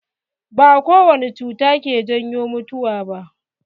Ba kowane cuta ke janyo mutuwa ba.